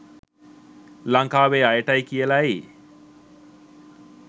ලංකාවේ අයටයි කියලායි